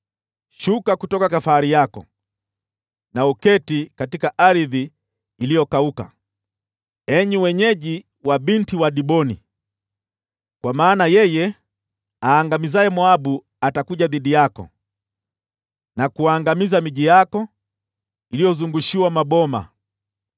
“Shuka kutoka fahari yako na uketi katika ardhi iliyokauka, enyi wenyeji wa Binti wa Diboni, kwa maana yeye aangamizaye Moabu atakuja dhidi yako, na kuangamiza miji yako iliyozungushiwa maboma.